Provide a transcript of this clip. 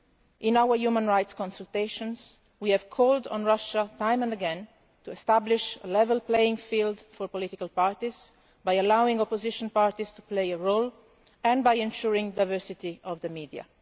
In our human rights consultations, we have called on Russia time and again to establish a level playing field for political parties by allowing opposition parties to play a role and by ensuring diversity of the media.